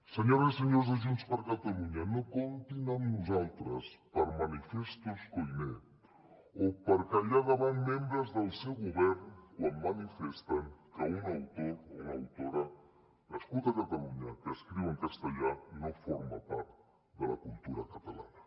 senyores i senyors de junts per catalunya no comptin amb nosaltres per manifestos koiné o per callar davant membres del seu govern quan manifesten que un autor o autora nascut a catalunya que escriu en castellà no forma part de la cultura catalana